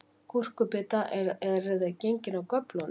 Gúrkubita, eruð þið gengin af göflunum?